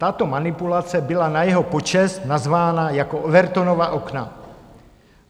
Tato manipulace byla na jeho počest nazvána jako Overtonova okna.